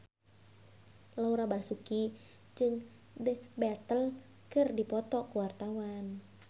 Laura Basuki jeung The Beatles keur dipoto ku wartawan